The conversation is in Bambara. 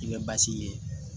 I bɛ basi ye